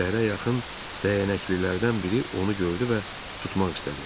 Səhərə yaxın dəyənəklilərdən biri onu gördü və tutmaq istədi.